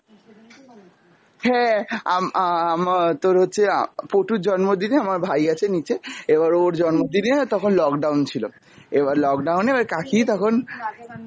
হ্যাঁ আম~ আ~ আম~ তোর হচ্ছে আ~ পটুর জন্মদিনে আমার ভাই আছে নিচে এবার ওর জন্মদিনে তখন lockdown ছিল, এবার lockdown এ এবার কাকি তখন।